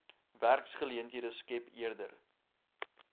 werksgeleenthede skep eerder